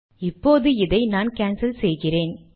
இப்போது இதை நான் கான்சல் செய்கிறேன்